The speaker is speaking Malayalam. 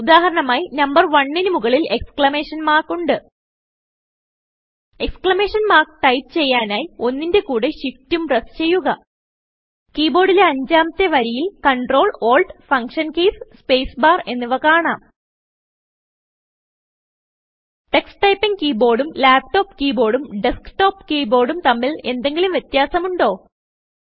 ഉദാഹരണമായിനമ്പർ 1 ന് മുകളിൽ എക്സ്ക്ലമേഷൻ മാർക്ക് ഉണ്ട് എക്സ്ക്ലമേഷൻ മാർക്ക് ടൈപ്പ് ചെയ്യാനായി 1ന്റെ കൂടെ ഷിഫ്റ്റും പ്രസ് ചെയ്യുക കീബോർഡിലെ അഞ്ചാമത്തെ വരിയിൽ Ctrl Alt ഫങ്ഷൻ keysസ്പേസ് ബാർ എന്നിവ കാണാം ടക്സ് ടൈപ്പിംഗ് keyboardഉം ലാപ്ടോപ്പ് keyboardഉം ഡെസ്ക്ടോപ്പ് keyboardഉം തമ്മിൽ എന്തെങ്കിലും വ്യത്യാസം ഉണ്ടോ